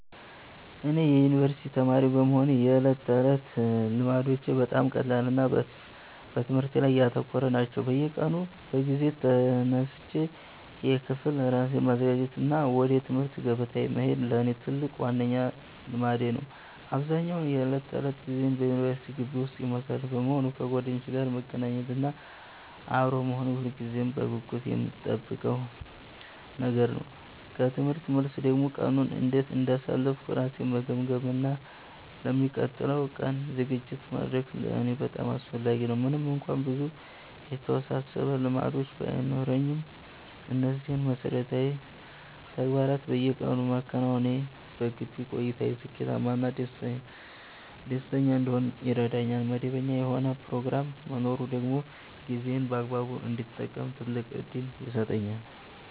እኔ የዩኒቨርሲቲ ተማሪ በመሆኔ የዕለት ተዕለት ልማዶቼ በጣም ቀላልና በትምህርቴ ላይ ያተኮሩ ናቸው። በየቀኑ በጊዜ ተነስቼ ለክፍል ራሴን ማዘጋጀት እና ወደ ትምህርት ገበታዬ መሄድ ለእኔ ትልቁና ዋነኛው ልማዴ ነው። አብዛኛውን የዕለት ተዕለት ጊዜዬን በዩኒቨርሲቲ ግቢ ውስጥ የማሳልፍ በመሆኑ፣ ከጓደኞቼ ጋር መገናኘት እና አብሮ መሆን ሁልጊዜም በጉጉት የምጠብቀው ነገር ነው። ከትምህርት መልስ ደግሞ ቀኑን እንዴት እንዳሳለፍኩ ራሴን መገምገም እና ለሚቀጥለው ቀን ዝግጅት ማድረግ ለእኔ በጣም አስፈላጊ ነው። ምንም እንኳን ብዙ የተወሳሰቡ ልማዶች ባይኖሩኝም፣ እነዚህን መሠረታዊ ተግባራት በየቀኑ ማከናወኔ በግቢ ቆይታዬ ስኬታማ እና ደስተኛ እንድሆን ይረዳኛል። መደበኛ የሆነ ፕሮግራም መኖሩ ደግሞ ጊዜዬን በአግባቡ እንድጠቀም ትልቅ ዕድል ይሰጠኛል።